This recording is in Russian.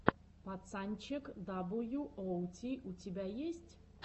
пацанчег дабл ю оу ти у тебя есть